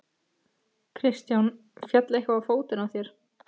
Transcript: Kristján: Féll eitthvað á fótinn á þér?